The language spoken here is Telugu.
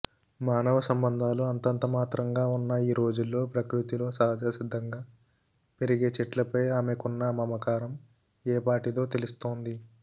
మానవ సంబంధాలు అంతంత మాత్రంగా ఉన్న ఈ రోజుల్లో ప్రకృతిలో సహజసిద్దంగా పెరిగే చెట్లపై ఆమెకున్న మమకారం ఏపాటిదో తెలుస్తోంది